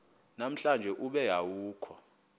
namhlanje ube awukho